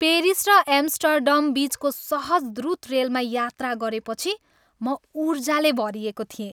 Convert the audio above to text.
Paris र Amsterdam बिचको सहज, द्रुत रेलमा यात्रा गरेपछि म ऊर्जाले भरिएको थिएँ।